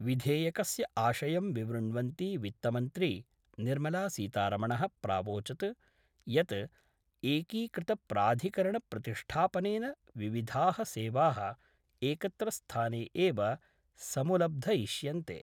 विधेयकस्य आशयं विवृण्वन्ती वित्तमन्त्री निर्मला सीतारमण: प्रावोचत् यत् एकीकृतप्राधिकरणप्रतिष्ठापनेन विविधाः सेवा: एकत्र स्थाने एव समुलब्धयिष्यन्ते।